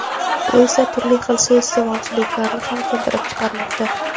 Bu esa, turli xil suiiste’molchiliklarni ham keltirib chiqarmoqda.